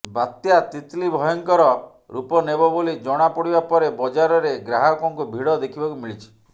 ବାତ୍ୟା ତିତଲି ଭୟଙ୍କର ରୂପ ନେବ ବୋଲି ଜଣା ପଡିବା ପରେ ବଜାରରେ ଗ୍ରାହକଙ୍କୁ୍ ଭିଡ ଦେଖିବାକୁ ମିଳିଛି